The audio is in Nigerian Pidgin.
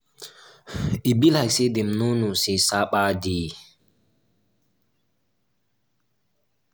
e be like say dem no know say sapa dey